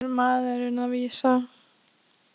Og í hvaða mál er maðurinn að vísa?